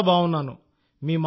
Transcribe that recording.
చాలా బాగున్నాను సార్